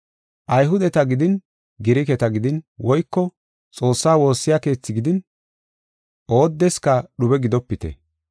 Ayhudeta gidin Giriketa gidin woyko Xoossa woosa keethi gidin oodeska dhube gidopite.